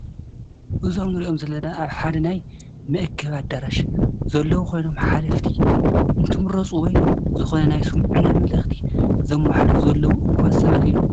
እዞም እንሪኦም ዘለና ኣብ ሓደ ናይ መአከቢ ኣዳራሽ ዘለዉ ኮይኖም ሓለፍቲ እንትምረፁ ወይ ዝኮነ ናይ ስሙዕና መምልእክቲ ዘመሓላልፉ ዘለዉ እኩባት ሰባት እዮም።